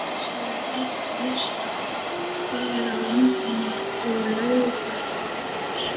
Þar er eitt elsta berg á landinu og laugar fáar.